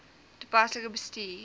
toepaslik bestuur